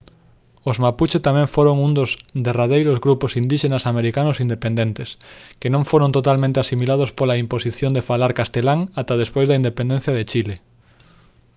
os mapuche tamén foron un dos derradeiros grupos indíxenas americanos independentes que non foron totalmente asimilados pola imposición de falar castelán ata despois da independencia de chile